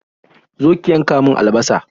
Zo ki yanka min albasa!